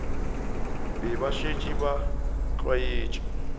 be ba šetše ba tlwaetše